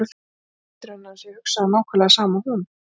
Sér ekki betur en að hann sé að hugsa nákvæmlega það sama og hún.